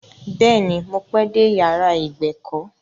Bẹ́ẹ̀ ni, mo pẹ́ dé yàrá ìgbèkọ́.